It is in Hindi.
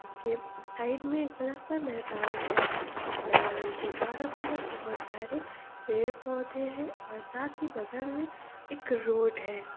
के साइड मे एक बडा सा मैदान है उस मैदान के चारो तरफ बहुत सारे पेड पौधे है और साथ ही बगल मे एक रोड है।